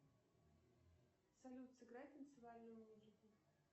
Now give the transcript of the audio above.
салют сыграй танцевальную музыку